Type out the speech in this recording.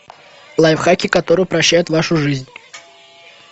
лайфхаки которые упрощают вашу жизнь